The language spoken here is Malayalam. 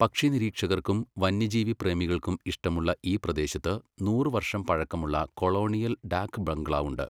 പക്ഷി നിരീക്ഷകർക്കും വന്യജീവി പ്രേമികൾക്കും ഇഷ്ടമുള്ള ഈ പ്രദേശത്ത് നൂറ് വർഷം പഴക്കമുള്ള കൊളോണിയൽ ഡാക് ബംഗ്ലാവ് ഉണ്ട്.